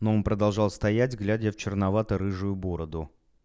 но он продолжал стоять глядя в черновато-рыжую бороду